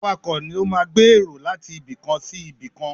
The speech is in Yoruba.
Awakọ̀ ló máa gbé èrò láti ibikàn sí ibìkan.